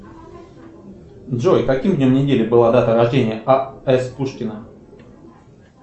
джой каким днем недели была дата рождения а с пушкина